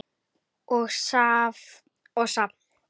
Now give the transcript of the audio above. og saft.